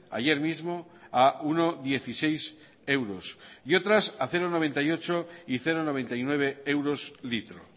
ayer mismo a uno coma dieciséis euros y otras a cero coma noventa y ocho y cero coma noventa y nueve euros litro